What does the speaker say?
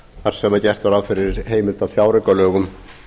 þar sem gert er ráð fyrir heimild á fjáraukalögum